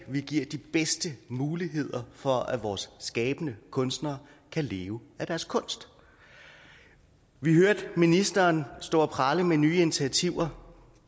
vi giver de bedste muligheder for at vores skabende kunstnere kan leve af deres kunst vi hørte ministeren stå og prale med nye initiativer